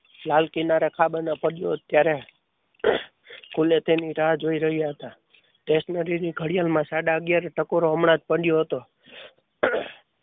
લાલ કિનારે ખાવાના પડદો ત્યારે તે ખૂણે તેની રાહ જોઈ રહ્યા હતા ત્યારે તે ઘડિયાળમાં સાડા અગિયાર નો ટકોરો હમણાં જ પડ્યો હતો.